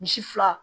Misi fila